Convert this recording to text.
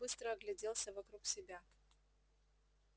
тот быстро огляделся вокруг себя